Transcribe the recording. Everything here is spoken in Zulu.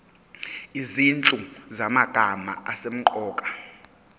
izinhlu zamagama asemqoka